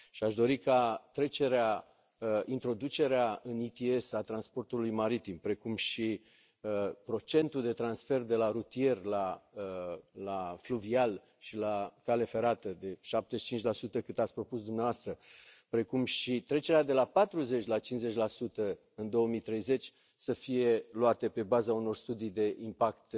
Aș dori ca introducerea în ETS a transportului maritim, precum și procentul de transfer de la rutier, la fluvial și la cale ferată de 75 cât ați propus dumneavoastră, precum și trecerea de la 40 la 50 în 2030 să fie luate pe baza unor studii de impact